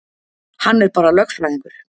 Hann er bara lögfræðingur.